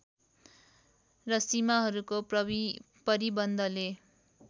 र सीमाहरूको परिबन्दले